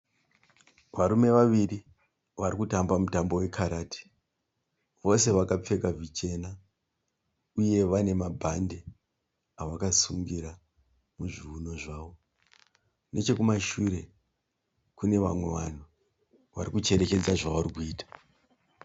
Varume vaviri vari kutamba mutambo wekarati. Vose vakapfeka zvichena uye vane mabhandi avakasungira muzviuno zvavo. Nechokumashure kune vamwe vanhu vari kucherechedza zvavari kuita.